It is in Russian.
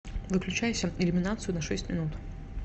выключайся иллюминацию на шесть минут